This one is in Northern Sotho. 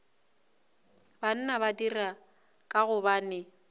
banna ba dira ka gobane